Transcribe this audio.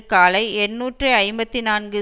காலை எண்ணூற்று ஐம்பத்தி நான்கு